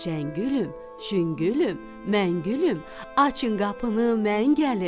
Şəngülüm, şüngülüm, məngülüm, açın qapını, mən gəlim.